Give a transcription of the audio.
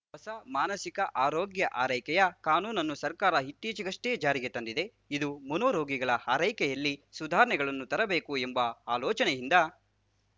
ಹೊಸ ಮಾನಸಿಕ ಆರೋಗ್ಯ ಆರೈಕೆಯ ಕಾನೂನನ್ನು ಸರ್ಕಾರ ಇತ್ತೀಚೆಗಷ್ಟೆ ಜಾರಿಗೆ ತಂದಿದೆ ಇದು ಮನೋರೋಗಿಗಳ ಆರೈಕೆಯಲ್ಲಿ ಸುಧಾರಣೆಗಳನ್ನು ತರಬೇಕು ಎಂಬ ಆಲೋಚನೆಯಿಂದ